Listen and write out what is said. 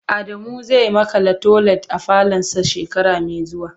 Adamu zai makala toilet a falonsa shekara mai zuwa.